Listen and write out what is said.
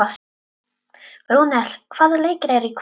Rúnel, hvaða leikir eru í kvöld?